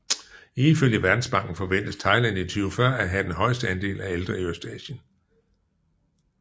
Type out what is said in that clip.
Ifølge Verdensbanken forventes Thailand i 2040 at have den højeste andel af ældre i Østasien